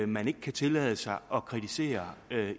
man ikke kan tillade sig at kritisere